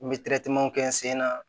N bɛ kɛ n sen na